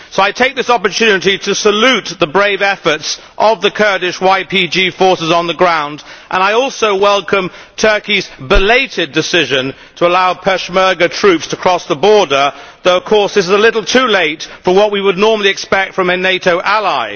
So I take this opportunity to salute the brave efforts of the Kurdish YPG forces on the ground, and I also welcome Turkey's belated decision to allow Peshmerga troops to cross the border though of course it is a little too late for what we would normally expect from a NATO ally.